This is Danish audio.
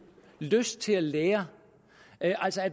lyst til at lære at